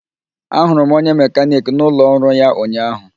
Ahụrụ m onye mekaniki n'ụlọ ọrụ ya ụnyahụ